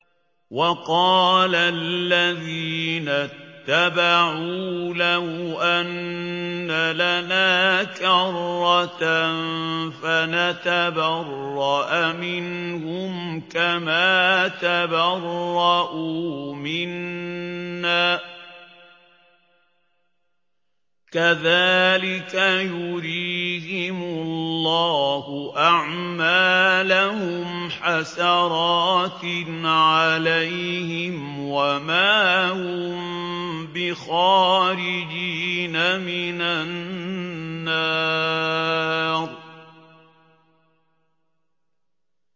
وَقَالَ الَّذِينَ اتَّبَعُوا لَوْ أَنَّ لَنَا كَرَّةً فَنَتَبَرَّأَ مِنْهُمْ كَمَا تَبَرَّءُوا مِنَّا ۗ كَذَٰلِكَ يُرِيهِمُ اللَّهُ أَعْمَالَهُمْ حَسَرَاتٍ عَلَيْهِمْ ۖ وَمَا هُم بِخَارِجِينَ مِنَ النَّارِ